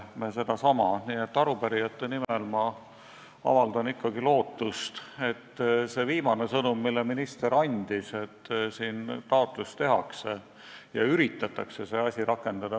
Nii et arupärijate nimel ma avaldan lootust, et see viimane sõnum, mille minister andis, ikkagi teostub, st taotlus tehakse ja üritatakse seda asja rakendada.